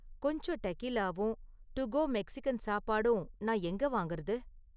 கொஞ்சம் டெகீலாவும் to go Mexican சாப்பாடும் நான் எங்க வாங்குறது?